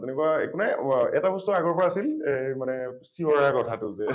তেনেকুৱা একো নাই, এটা বস্তু আগৰ পৰা আছিল এই মানে শিৱ দাৰ কথা টো যে